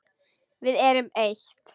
Við erum eitt.